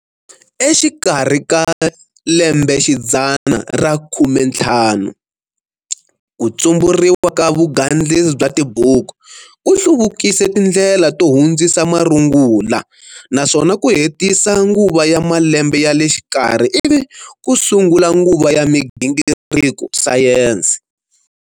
Exikarhi ka lembexidzana ra khumenthlanu, 15, kutsumburiwa ka vugandlisi bya tibuku, ku hluvukise tindlela ko hundzisa marungula, naswona ku hetisa nguva ya malembe yale xikarhi ivi kusungula nguva ya migingiriko Sayensi.